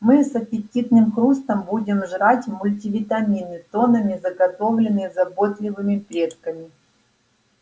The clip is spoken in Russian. мы с аппетитным хрустом будем жрать мультивитамины тоннами заготовленные заботливыми предками